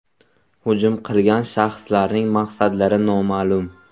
Hujum qilgan shaxslarning maqsadlari noma’lum.